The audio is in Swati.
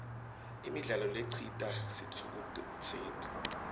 imidlalo lecitsa sitfukutseti